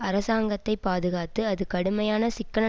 அரசாங்கத்தை பாதுகாத்து அது கடுமையான சிக்கன